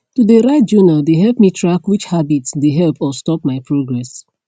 to de write journal de help me track which habits de help or stop my progress